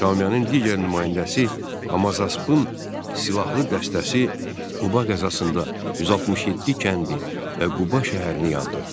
Şamiyanın digər nümayəndəsi Hamazaspın silahlı dəstəsi Quba qəzasında 167 kəndi və Quba şəhərini yandırdı.